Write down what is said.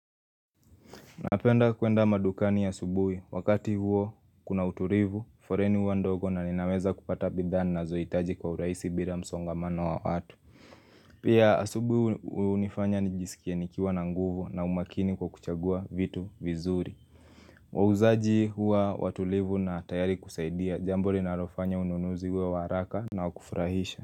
Napenda kuenda madukani asubuhi, wakati huo kuna utulivu, foleni huwa ndogo na ninaweza kupata bidhaa ninazohitaji kwa urahisi bila msongamano wa watu Pia asubuhi hunifanya nijisikie nikiwa na nguvu na umakini kwa kuchagua vitu vizuri wauzaji huwa watulivu na tayari kusaidia, jambo linalofanya ununuzi uwe wa haraka na wa kufurahisha.